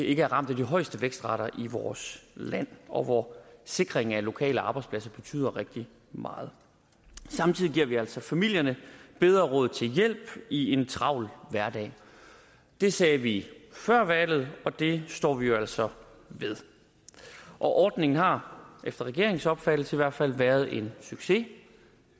ikke er ramt af de højeste vækstrater i vores land og hvor sikring af lokale arbejdspladser betyder rigtig meget samtidig giver vi altså familierne bedre råd til hjælp i en travl hverdag det sagde vi før valget og det står vi jo altså ved ordningen har efter regeringens opfattelse i hvert fald været en succes